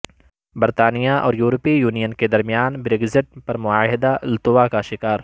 برطانیہ اور یورپی یونین کے درمیان بریگزٹ پر معاہدہ التوا کا شکار